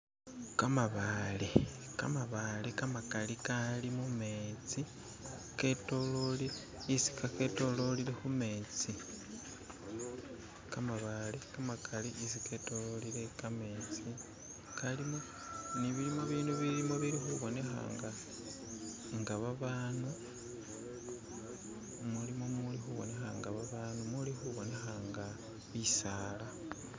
Kamabale kamakali mumetsi ketololile khumetsi , kalimo ne bindu bilimo bilikhubonekhana nga babandu, mulimo bili khubonekha nga bisala.